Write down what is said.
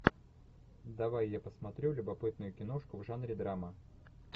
давай я посмотрю любопытную киношку в жанре драма